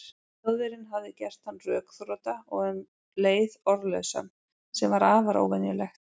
Þjóðverjinn hafði gert hann rökþrota og um leið orðlausan, sem var afar óvenjulegt.